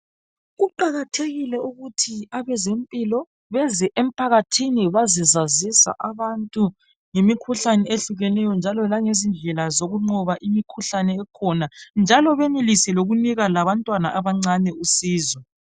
Kuqakathekile ukuthi abezempilo beze emphakathini bazekwazisa abantu ngemikhuhlane ehlehlukeneyo njalo langezindlela zokunqoba imikhuhlane ekhona, njalo benelise lokunika labantwana abancane usizo.